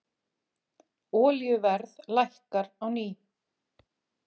Olíuverð lækkar á ný